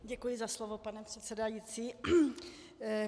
Děkuji za slovo, pane předsedající.